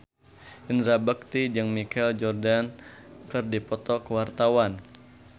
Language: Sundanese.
Indra Bekti jeung Michael Jordan keur dipoto ku wartawan